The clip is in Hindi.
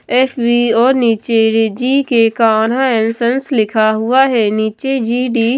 एफ बी और नीचे रिजी के कान्हा एनसेंस लिखा हुआ है नीचे जी डी --